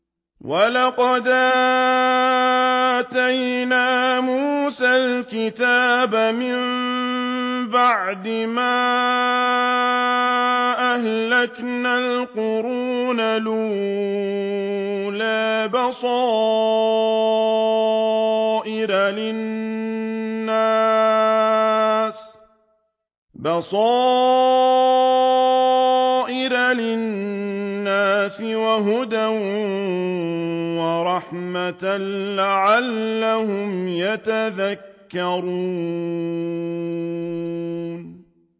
وَلَقَدْ آتَيْنَا مُوسَى الْكِتَابَ مِن بَعْدِ مَا أَهْلَكْنَا الْقُرُونَ الْأُولَىٰ بَصَائِرَ لِلنَّاسِ وَهُدًى وَرَحْمَةً لَّعَلَّهُمْ يَتَذَكَّرُونَ